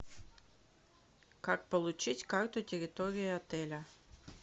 как получить карту территории отеля